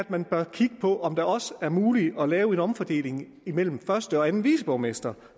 man bør kigge på om det også er muligt at lave en omfordeling imellem første og anden viceborgmester